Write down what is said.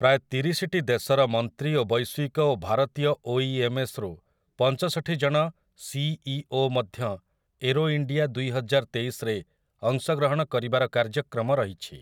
ପ୍ରାୟ ତିରିଶିଟି ଦେଶର ମନ୍ତ୍ରୀ ଓ ବୈଶ୍ୱିକ ଓ ଭାରତୀୟ ଓଇଏମ୍ଏସ୍ରୁ ପଞ୍ଚଷଠି ଜଣ ସିଇଓ ମଧ୍ୟ ଏରୋଇଣ୍ଡିଆ ଦୁଇହଜାରତେଇଶରେ ଅଂଶଗ୍ରହଣ କରିବାର କାର୍ଯ୍ୟକ୍ରମ ରହିଛି ।